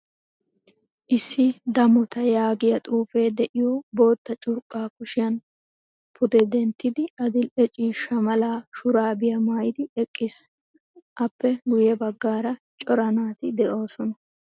Issi damota yaagiyaa xuufe deiyo boottaa curqqa kushiyan pude denttidi adil'ee ciishsha mala shurabiyaa maayidi eqqiis. Appe guye baggaara cora naati deosona.